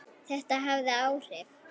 Þetta hafði áhrif.